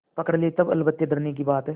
पकड़ ले तब अलबत्ते डरने की बात है